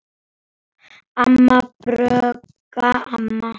Amma, Björg amma.